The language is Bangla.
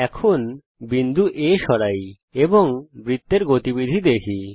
এখন বিন্দু A সরাই এবং বৃত্তের গতিবিধি দেখি